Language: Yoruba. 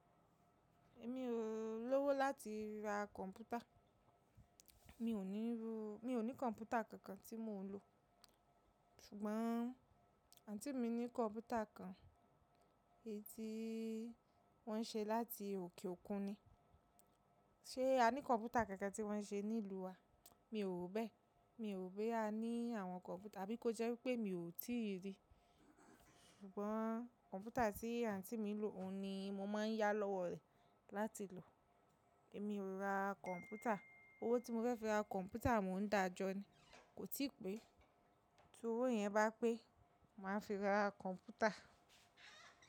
Èmi ò lọ́wọ́ láti ra kọ̀ǹpútà. Mi ò ní ro, mi ò ní kọ̀ǹpútà kankan tí mò ń lò. Ṣùgbọ́n àǹtí mi ní kọ̀ǹpútà kan, èyí tí wọ́n ṣe láti òkè òkun ni. Ṣé a ní kọ̀ǹpútà kankan tí wọ́n ṣe ní ìlú wa? Mi ò bẹ́ẹ̀. Mi ò pé a ní àwọn kọ̀ǹpútà, àbí ko jẹ́ wípé mi ò tíì rí i. Ṣùgbọ́n kọ̀ǹpútà tí àǹtí mi lò, òun ni mo máa ń yá lọ́wọ́ rẹ̀ láti lò. Èmi ò ra kọ̀ǹpútà. Owó tí mo fẹ́ fi ra kọ̀ǹpútà mò ń dàjọ́ ni, kò tí pẹ́. Tí owó yẹn bá pé, màá fi ra kọ̀ǹpútà.